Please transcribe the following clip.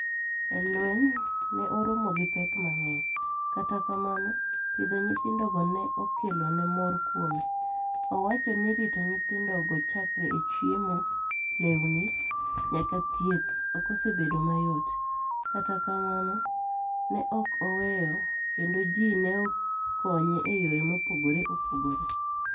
E lweniy, ni e oromo gi pek manig'eniy, kata kamano, pidho niyithinidogo ni e keloni e mor kuome. Owacho nii rito niyithinido chakre e chiemo, lewnii, niyaka thieth ok osebedo mayot, kata kamano, ni e ok oweyo, kenido ji ni e koniye e yore mopogore opogore.